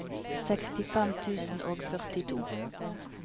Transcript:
sekstifem tusen og førtito